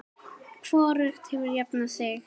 Hvorugt hefur jafnað sig.